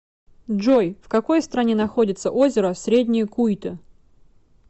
джой в какой стране находится озеро среднее куйто